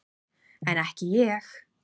En ekki ég.